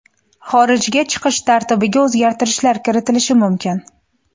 Xorijga chiqish tartibiga o‘zgartirishlar kiritilishi mumkin.